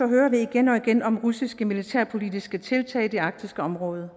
hører vi igen og igen om russiske militærpolitiske tiltag i det arktiske område